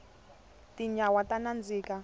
tinyawa ta nandzika